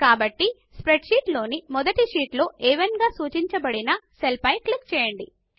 కాబట్టి స్ప్రెడ్షీట్లోని మొదటి షీట్ లో అ1 గా సూచించబడిన సెల్ పై క్లిక్ చేయండి